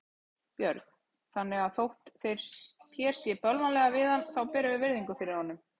Björn: Þannig að þótt þér sé bölvanlega við hann þá berðu virðingu fyrir honum?